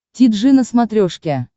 ти джи на смотрешке